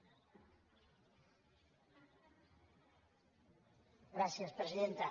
gràcies presidenta